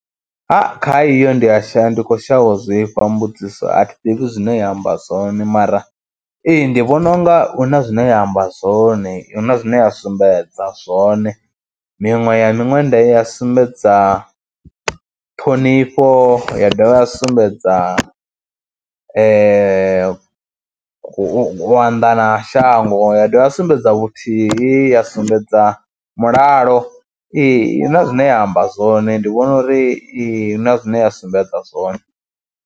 Ha kha iyo ndi ya sha ya ndi khou shavha u zwifha, mbudziso a thi ḓivhi zwine ya amba zwone mara ee, ndi vhona u nga hu na zwine ya amba zwone, hu na zwine ya sumbedza zwone miṅwe ya miṅwenda ya sumbedza ṱhonifho ya dovha ya sumbedza u anḓana ha shango ya dovha ya sumbedza vhuthihi, ya sumbedza mulalo, ee i na zwine ya amba zwone, ndi vhona uri i na zwine ya sumbedza zwone.